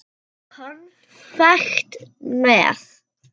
Konfekt með.